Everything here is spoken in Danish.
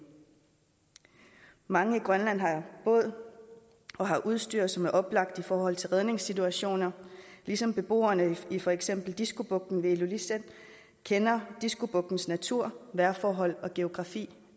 mange i grønland har båd og har udstyr som er oplagt i forhold til redningssituationer ligesom beboerne i for eksempel diskobugten ved illulissat kender diskobugtens natur vejrforhold og geografi